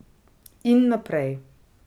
In naprej.